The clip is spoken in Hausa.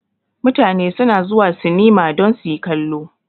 Mutane su na zuwa sinima don su yi kallo